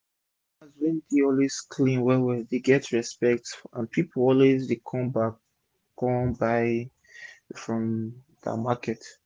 farmers wey dey always clean well well dey get respect and pipu dey always come back kon buy from dem for market